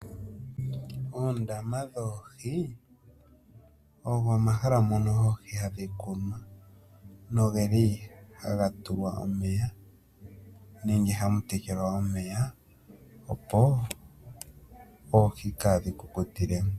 Oondama dhoohi ogo omahala mono oohi hadhi kunwa. Nogeli hadhi tulwa omeya nenge hadhi tekelwa omeya opo oohi kaadhi kukutile mo.